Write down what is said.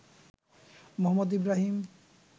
Mohammad Ibrahim